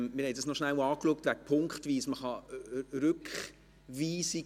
Wir haben die Sache mit der punktweisen Abstimmung noch kurz angeschaut.